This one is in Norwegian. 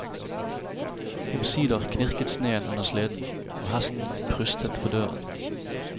Omsider knirket sneen under sleden, og hesten prustet for døren.